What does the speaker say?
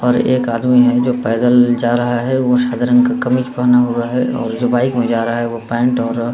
और एक आदमी है जो पैदल जा रहा है। उ वो सादे रंग का कमीज पहना हुआ है और जो बाइक में जा रहा है वो पेंट और --